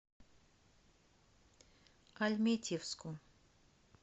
альметьевску